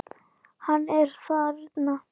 Hann er þarna.